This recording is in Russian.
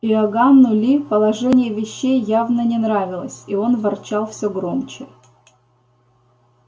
иоганну ли положение вещей явно не нравилось и он ворчал все громче